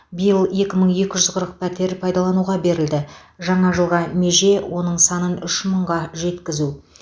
биыл екі мың екі жүз қырық пәтер пайдалануға берілді жаңа жылға меже оның санын үш мыңға жеткізу